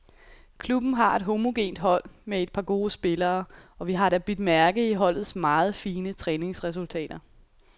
Klubben har et homogent hold med et par gode spillere, og vi har da bidt mærke i holdets meget fine træningsresultater.